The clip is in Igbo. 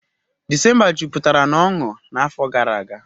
December jupụtara na ọṅụ n'afọ gara aga.